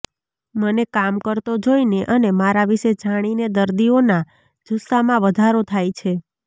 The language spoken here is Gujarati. મને કામ કરતો જોઈને અને મારા વિષે જાણીને દર્દીઓના જુસ્સામાં વધારો થાય છે